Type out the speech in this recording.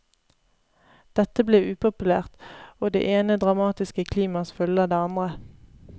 Dette blir upopulært, og det ene dramatiske klimaks følger det andre.